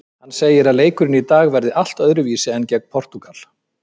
Hann segir að leikurinn í dag verði allt öðruvísi en gegn Portúgal.